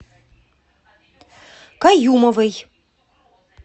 каюмовой